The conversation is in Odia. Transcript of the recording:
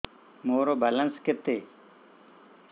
ମୋର ବାଲାନ୍ସ କେତେ